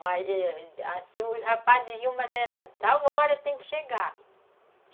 Mas, assim, os rapazes iam, mas era tal hora, tem que chegar.